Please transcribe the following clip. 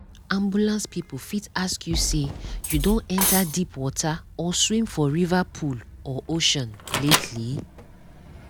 ambulance people fit ask you say you don enter deep water or swim for river pool or ocean lately?